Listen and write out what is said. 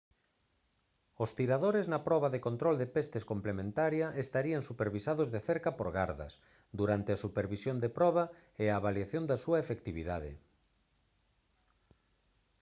os tiradores na proba de control de pestes complementaria estarían supervisados de cerca por gardas durante a supervisión da proba e a avaliación da súa efectividade